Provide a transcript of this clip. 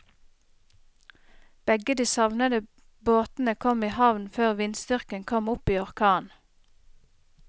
Begge de savnede båtene kom i havn før vindstyrken kom opp i orkan.